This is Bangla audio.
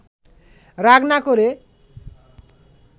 রাগ না করে